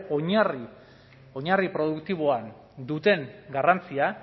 oinarri produktiboan duten garrantzia